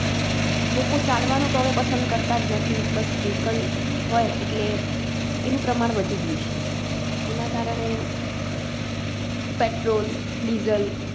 લોકો ચાલવાનું તો હવે પસંદ કરતાજ નથી બસ Vehicle હોય એટલે એનું પ્રમાણ વધી ગયું છે, એના કારણે, PetrolDiesel